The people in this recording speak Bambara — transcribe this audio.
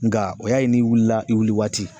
Nka o y'a ye n'i wulila i wili waati